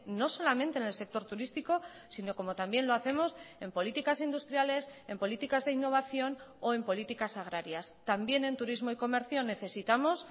no solamente en el sector turísticos sino como también lo hacemos en políticas industriales en políticas de innovación o en políticas agrarias también en turismo y comercio necesitamos